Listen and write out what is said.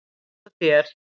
Eins og þér.